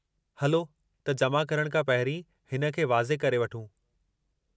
हलो त जमा करण खां पहिरीं हिन खे वाज़े करे वठूं।